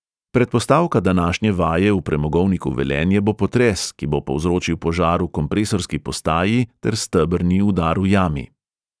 Predpostavka današnje vaje v premogovniku velenje bo potres, ki bo povzročil požar v kompresorski postaji ter stebrni udar v jami.